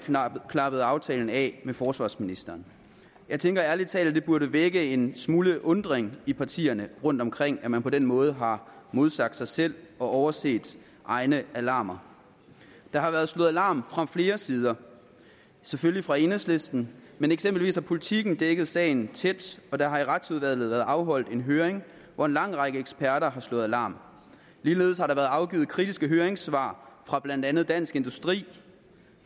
klappede aftalen af med forsvarsministeren jeg tænker ærlig talt det burde vække en smule undren i partierne rundtomkring at man på den måde har modsagt sig selv og overset egne alarmer der har været slået alarm fra flere sider selvfølgelig fra enhedslisten men eksempelvis har politiken dækket sagen tæt og der har i retsudvalget været afholdt en høring hvor en lang række eksperter har slået alarm ligeledes har der været afgivet kritiske høringssvar fra blandt andet dansk industri